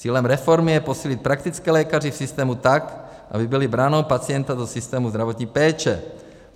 Cílem reformy je posílit praktické lékaře v systému tak, aby byli branou pacienta do systému zdravotní péče.